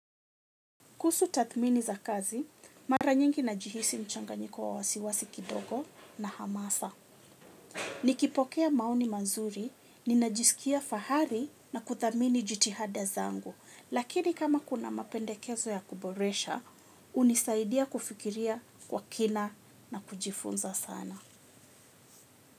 Kuhusu tathmini za kazi, mara nyingi najihisi mchanganyiko wa wasiwasi kidogo na hamasa. Nikipokea maoni mazuri, ninajisikia fahari na kuthamini jitihada zangu. Lakini kama kuna mapendekezo ya kuboresha, unisaidia kufikiria kwa kina na kujifunza sana.